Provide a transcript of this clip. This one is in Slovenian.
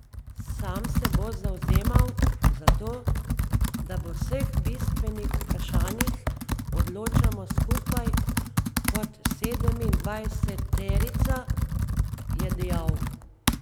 Sam se bo zavzemal za to, da v vseh bistvenih vprašanjih odločamo skupaj kot sedemindvajseterica, je dejal.